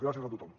gràcies a tothom